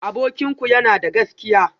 Abokinku yana da gaskiya?